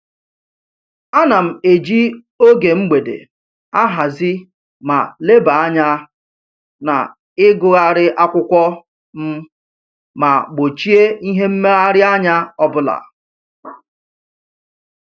Ana m eji oge mgbede ahazi ma lebanye anya na-ịgụgharị akwụkwọ m ma gbochie ihe mmegharịanya ọbụla